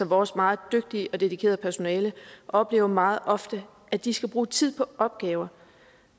vores meget dygtige og dedikerede personale oplever meget ofte at de skal bruge tid på opgaver